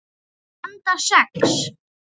Handa sex